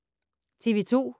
TV 2